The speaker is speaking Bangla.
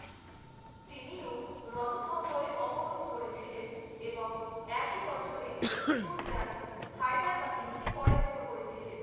তিনিও রণথম্বরে অবরোধ করেছিলেন এবং একই বছরে সুরজন হাদার বাহিনীকে পরাজিত করেছিলেন।